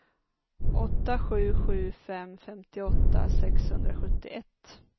åtta sju sju fem femtioåtta sexhundrasjuttioett